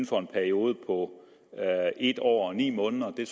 for en periode på en år og ni måneder jo